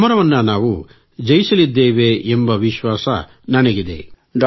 ಈ ಸಮರವನ್ನು ನಾವು ಜಯಿಸಲಿದ್ದೇವೆ ಎಂಬ ವಿಶ್ವಾಸ ನನಗಿದೆ